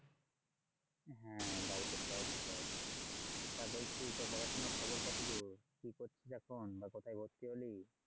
হ্যাঁ বাড়িতে সবাই ভালো আছে। তা বলছি তোর পড়াশোনার খবর কতদূর? কি করছিস এখন? বা কোথায় ভর্তি হলি?